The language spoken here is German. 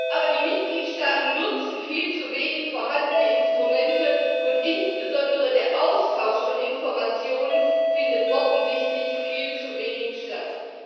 Aber die Mitgliedstaaten nutzen viel zu wenig vorhandene Instrumente, und insbesondere der Austausch von Informationen findet offensichtlich viel zu wenig statt.